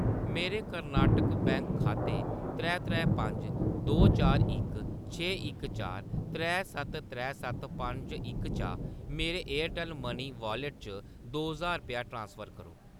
मेरे कर्नाटक बैंक खाते त्रै त्रै पंज दो चार इक छे इक चार त्रै सत्त त्रै सत्त पंज इक चा मेरे एयरटैल्ल मनी वाॅलेट च दो ज्हार रपेआ ट्रांसफर करो।